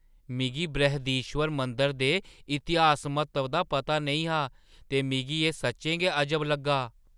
मिगी बृहदीश्वर मंदरै दे इतिहासिक म्हत्तवै दा पता नेईं हा ते मिगी एह् सच्चें गै अजब लग्गा।